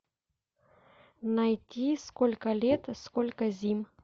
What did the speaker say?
найди сколько лет сколько зим